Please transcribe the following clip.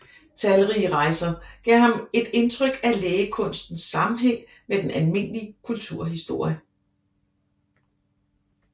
Talrige rejser gav ham et indtryk af lægekunstens sammenhæng med den almindelige kulturhistorie